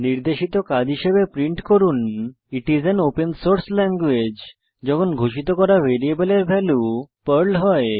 নির্দেশিত কাজ হিসাবে প্রিন্ট করুন it is an open source language যখন ঘোষিত করা ভ্যারিয়েবলের ভ্যালু পার্ল হয়